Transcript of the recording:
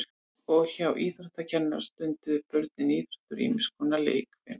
og hjá íþróttakennara stunduðu börnin íþróttir og ýmis konar leikfimi